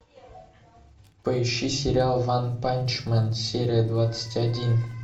поищи сериал ванпанчмен серия двадцать один